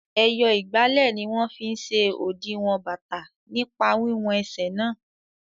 Ẹyọ ìgbálẹ̀ ni wọ́n fí n ṣe òdiwọ̀n bàtà nípa wiwọn ẹsẹ̀ náà